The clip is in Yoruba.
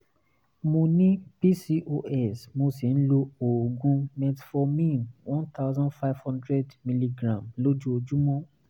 mo ní pcos mo sì ń lo oògùn metformin one thousand five hundred milligram lójoojúmọ́